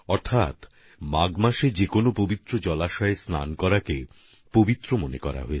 অর্থাৎ মাঘ মাসে যে কোন পবিত্র জলাশয়ে স্নান করা শুদ্ধ মনে করা হয়